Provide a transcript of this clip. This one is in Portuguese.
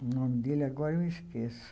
O nome dele agora eu esqueço.